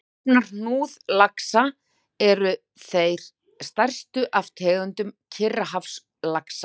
Stofnar hnúðlaxa eru þeir stærstu af tegundum Kyrrahafslaxa.